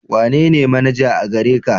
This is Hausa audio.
Wanene manaja a gare ka?